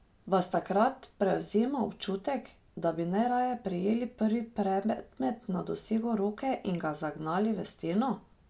Vas takrat prevzema občutek, da bi najraje prijeli prvi predmet na dosegu roke in ga zagnali v steno?